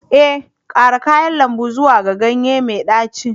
Ee, ƙara kayan lambu zuwa ga ganye mai ɗaci